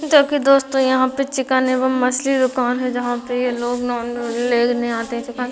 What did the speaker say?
देखिये दोस्तों यहाँ पे चिकन एवं मछली दूकान है जहाँ ये लोग नॉन वेज लेने आते है चिकन --